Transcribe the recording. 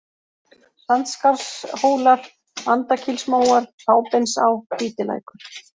Sandskarðshólar, Andakílsmóar, Fábeinsá, Hvítilækur